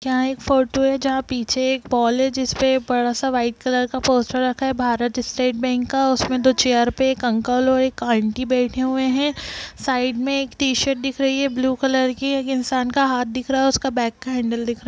यहाँ एक फोटो है जहाँ पीछे एक पोल है जिसपे बड़ा सा व्हाइट कलर का पोस्टर रखा है भारत स्टेट बैंक का उसमें दो चेयर पे एक अंकल और एक आंटी बैठे हुए हैं साइड में एक टी-शर्ट दिख रही है ब्लू कलर की एक इंसान का हाथ दिख रहा उसका बैग का हैंडल दिख रहा --